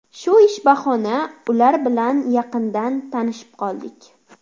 Shu ish bahona ular bilan yaqindan tanishib qoldik.